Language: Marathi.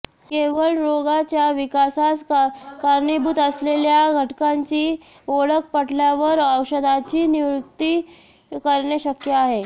केवळ रोगाच्या विकासास कारणीभूत असलेल्या घटकांची ओळख पटल्यावर औषधाची नियुक्ती करणे शक्य आहे